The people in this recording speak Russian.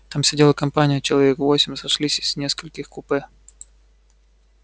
там сидела компания человек восемь сошлись из нескольких купе